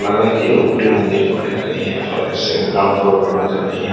लग रहा है कि ये ऊपरी मंजिल पर है कहीं ये ग्राउंड फ्लोर पर नजर नहीं आ --